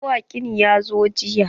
Mawaƙin ya zo jiya.